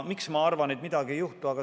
Miks ma arvan, et midagi ei juhtu?